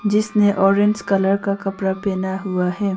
जिसने orange colour का कपड़ा पहना हुआ है।